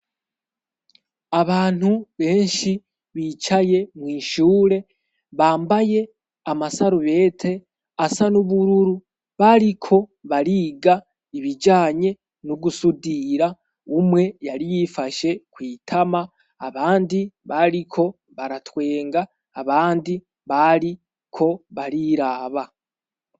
Abantu benshi bicaye mw'ishure, bambaye amasarubete asa n'ubururu, bariko bariga ibijanye no gusudira, umwe yari yifashe kw'itama, abandi bariko baratwenga, abandi bariko bariraba.